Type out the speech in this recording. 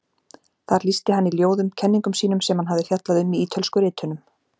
Þar lýsti hann í ljóðum kenningum sínum sem hann hafði fjallað um í Ítölsku ritunum.